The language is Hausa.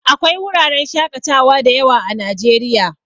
Akwai wuraren shakatawa dayawa a najeriya